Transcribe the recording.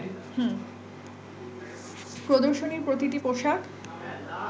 প্রদর্শনীর প্রতিটি পোশাক